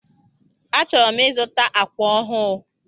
Achọrọ m ịzụta ákwà ọhụụ.